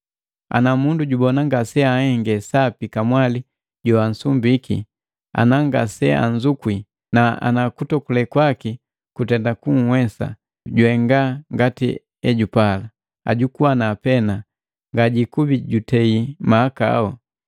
Ana mundu jubona ngaseanhenge sapi kamwali joansumbiki ana ngaseanzukwi, na ana kutokule kwaki kutenda kunhwesa, juhenga ngati ejupala, ajukuana pena, ngajikubi jutei mahakau.